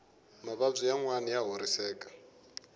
mavabyi yanwani ya horiseka